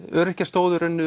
öryrkjar stóðu í raun